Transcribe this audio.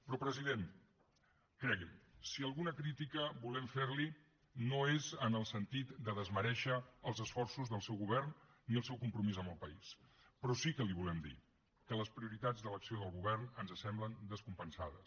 però president cregui’m si alguna crítica volem fer li no és en el sentit de desmerèixer els esforços del seu govern ni el seu compromís amb el país però sí que li volem dir que les prioritats de l’acció del govern ens semblen descompensades